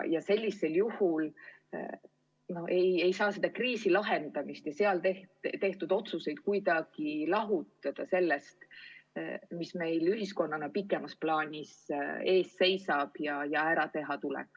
Ja selle kriisi lahendamist ja selleks tehtud otsuseid ei saa kuidagi lahutada sellest, mis meil ühiskonnana pikemas plaanis ees seisab ja ära teha tuleb.